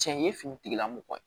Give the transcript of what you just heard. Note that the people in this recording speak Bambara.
Cɛn ye finitigila mɔgɔ ye